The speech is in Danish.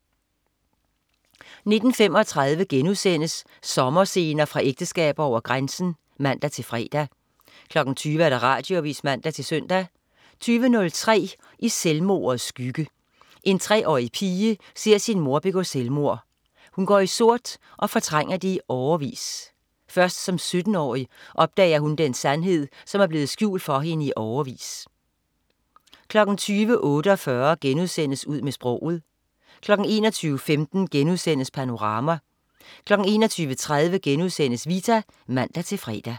19.35 Sommerscener fra ægteskaber over grænsen* (man-fre) 20.00 Radioavis (man-søn) 20.03 I selvmordets skygge. En treårig pige ser sin mor begå selvmord. Hun går i sort og fortrænger det i årevis. Først som 17-årig opdager hun den sandhed, som er blevet skjult for hende i årevis 20.48 Ud med sproget* 21.15 Panorama* 21.30 Vita* (man-fre)